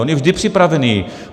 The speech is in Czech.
On je vždy připravený.